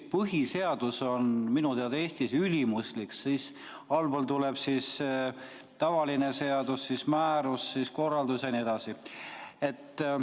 Põhiseadus on minu teada Eestis ülimuslik, sellest allpool tuleb tavaline seadus, siis määrus, siis korraldus jne.